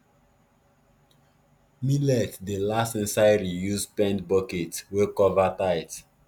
millet dey last inside reused paint bucket wey cover tight